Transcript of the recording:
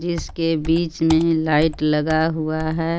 इसके बीच में लाइट लगा हुआ है।